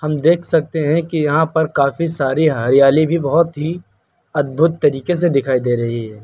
हम देख सकते हैं कि यहां पर काफी सारी हरियाली भी बहोत ही अद्भुत तरीके से दिखाई दे रही है।